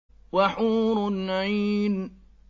وَحُورٌ عِينٌ